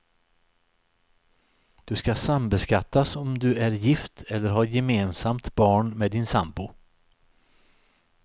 Du ska sambeskattas om du är gift eller har gemensamt barn med din sambo.